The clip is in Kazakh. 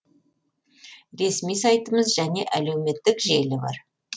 ресми сайтымыз және әлеуметтік желі бар